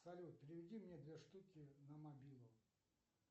салют переведи мне две штуки на мобилу